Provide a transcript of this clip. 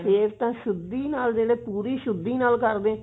ਫ਼ੇਰ ਤਾਂ ਸ਼ੁੱਧੀ ਨਾਲ ਜਿਹੜੇ ਪੂਰੀ ਸ਼ੁੱਧੀ ਨਾਲ ਕਰਦੇ